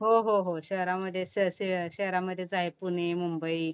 हो, हो, हो, शहरामध्ये शहरामध्येच आहे. पुणे, मुंबई